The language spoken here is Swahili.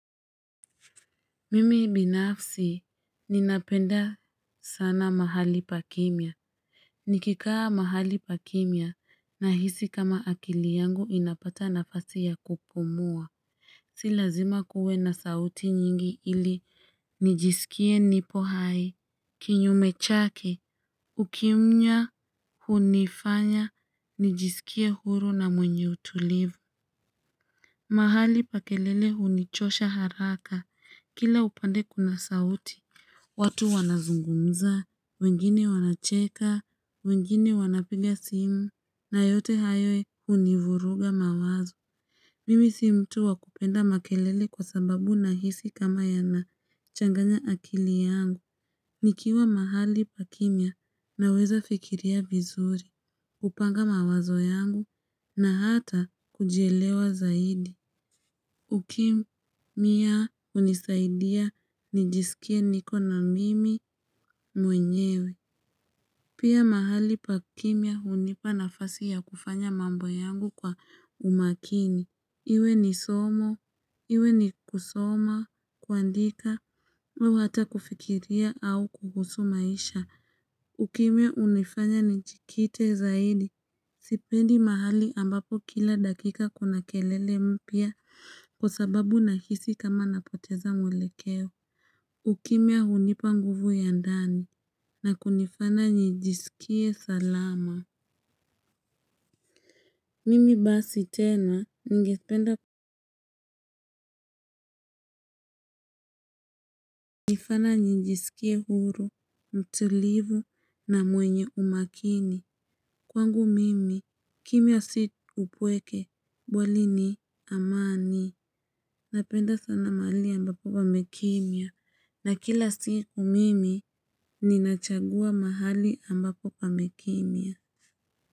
Mimi binafsi, ninapenda sana mahali pa kimya. Nikikaa mahali pa kimya, nahisi kama akili yangu inapata nafasi ya kupumua. Si lazima kuwe na sauti nyingi ili, nijisikie nipo hai. Kinyume chake, ukimya hunifanya, nijisikie huru na mwenye utulivu. Mahali pa kelele hunichosha haraka kila upande kuna sauti. Watu wanazungumza, wengine wanacheka, wengine wanapiga simu. Na yote hayo hunivuruga mawazo. Mimi si mtu wa kupenda makelele kwa sababu nahisi kama yanachanganya akili yangu. Nikiwa mahali pa kimya naweza fikiria vizuri kupanga mawazo yangu na hata kujielewa zaidi. Ukimya hunisaidia nijisikie niko na mimi mwenyewe. Pia mahali pa kimya hunipa nafasi ya kufanya mambo yangu kwa umakini. Iwe ni somo, iwe ni kusoma, kuandika, iwe hata kufikiria au kuhusu maisha. Ukimya hunifanya njikite zaidi. Sipendi mahali ambapo kila dakika kuna kelele mpya kwa sababu nahisi kama napoteza mwelekeo. Ukimya hunipa nguvu ya ndani na kunifanya nijisikie salama. Mimi basi tena ningependa hunifanta nijisikie huru, mtulivu na mwenye umakini. Kwangu mimi, kimya si upweke, bali ni amani, napenda sana mahali ambapo pamekimya, na kila siku mimi, ninachagua mahali ambapo pamekimya.